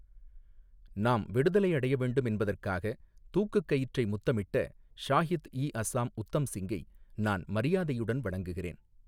நாம் விடுதலை அடைய வேண்டும் என்பதற்காக தூக்குக் கயிற்றை முத்தமிட்ட ஷாஹித் இ அசாம் உத்தம் சிங்கை நான் மரியாதையுடன் வணங்குகிறேன்.